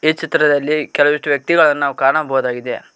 ಈ ಚಿತ್ರದಲ್ಲಿ ಕೆಲವಷ್ಟು ವ್ಯಕ್ತಿಗಳನ್ನು ಕಾಣಬಹುದಾಗಿದೆ.